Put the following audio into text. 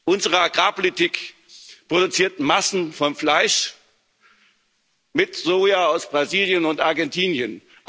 Unsere Agrarpolitik produziert Massen von Fleisch mit Soja aus Brasilien und Argentinien.